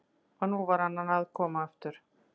Og nú var hann að koma aftur!